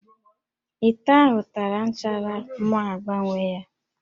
Íkó ahụ tara nchara mụ agbanwee ya